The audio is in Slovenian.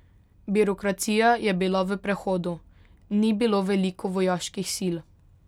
Birokracija je bila v prehodu, ni bilo veliko vojaških sil.